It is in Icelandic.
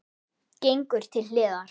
Gengur til hliðar.